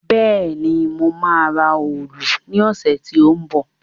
Bẹ́ẹ̀ni, mo máa ra òòlù ní ọ̀sẹ̀ tí ó ń bọ̀